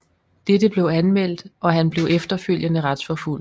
Dette blev anmeldt og han blev efterfølgende retsforfulgt